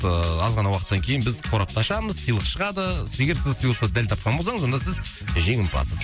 ыыы аз ғана уақыттан кейін біз қорапты ашамыз сыйлық шығады егер сіз сыйлықты дәл тапқан болсаңыз онда сіз жеңімпазсыз